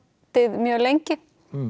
mjög lengi